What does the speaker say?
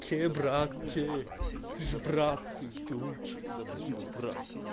все брат все ты же брат ты ты лучший спасибо брат